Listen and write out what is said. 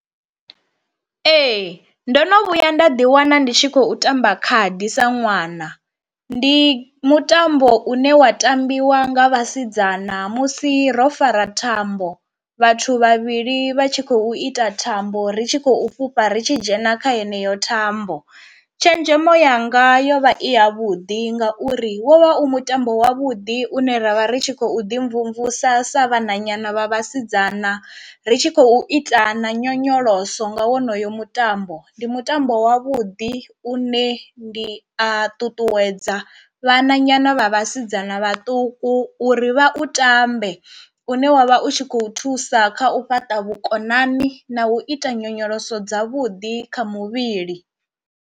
Ee ndo no vhuya nda ḓi wana ndi tshi khou tamba khadi sa ṅwana, ndi mutambo une wa tambiwa nga vhasidzana musi ro fara thambo, vhathu vhavhili vha tshi khou ita thambo ri tshi khou fhufha ri tshi dzhena kha heneyo thambo, tshenzhemo yanga yo vha i ya vhuḓi ngauri wo vha u mutambo wavhuḓi une ravha ri tshi khou ḓi mvumvusa sa vhana nyana vha vhasidzana ri tshi khou ita na nyonyoloso nga wonoyo mutambo, ndi mutambo wa vhuḓi u ne ndi a ṱuṱuwedza vhana nyana vha vhasidzana vhaṱuku uri vha u tambe une wavha u tshi khou thusa kha u fhaṱa vhukonani na u ita nyonyoloso dzavhuḓi kha muvhili.